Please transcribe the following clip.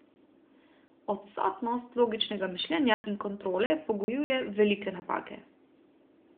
Odsotnost logičnega mišljenja in kontrole pogojuje velike napake.